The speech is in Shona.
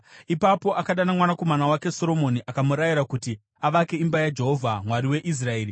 Ipapo akadana mwanakomana wake Soromoni akamurayira kuti avake imba yaJehovha, Mwari weIsraeri.